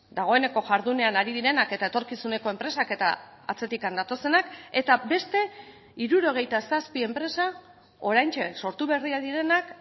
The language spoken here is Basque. dagoeneko jardunean ari direnak eta etorkizuneko enpresak eta atzetik datozenak eta beste hirurogeita zazpi enpresa oraintxe sortu berriak direnak